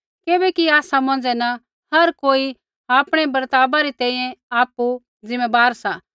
किबैकि आसा मौंझ़ै न हर कोई आपणै बर्तावा री तैंईंयैं आपु ज़िम्मैबार सा